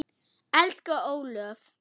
Elsku Ólöf.